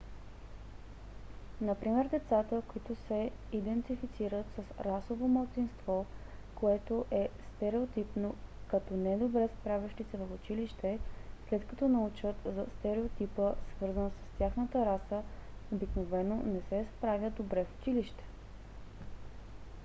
например децата които се идентифицират с расово малцинство което е стереотипно като не добре справящи се в училище след като научат за стереотипа свързан с тяхната раса обикновено не се справят добре в училище